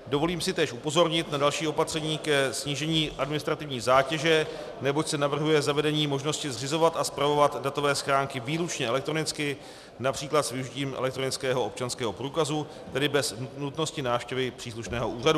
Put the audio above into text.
Dovolím si též upozornit na další opatření ke snížení administrativní zátěže, neboť se navrhuje zavedení možnosti zřizovat a spravovat datové schránky výlučně elektronicky, například s využitím elektronického občanského průkazu, tedy bez nutnosti návštěvy příslušného úřadu.